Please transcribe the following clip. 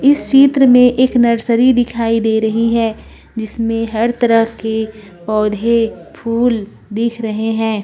इस चीत्र में एक नर्सरी दिखाई दे रही है जिसमें हर तरह के पौधेफूल दीख रहे है।